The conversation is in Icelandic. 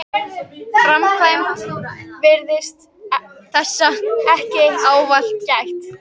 framkvæmd virðist þessa ekki ávallt gætt.